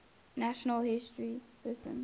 national historic persons